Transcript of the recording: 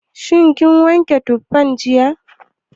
Shin kin wanke butan jiya?